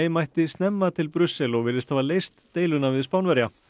mætti snemma til Brussel og virðist hafa leyst deiluna við Spánverja